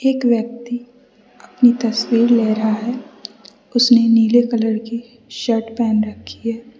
एक व्यक्ति अपनी तस्वीर ले रहा है उसने नीले कलर की शर्ट पहन रखी है।